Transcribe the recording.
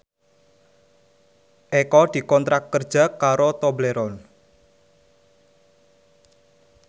Eko dikontrak kerja karo Tobleron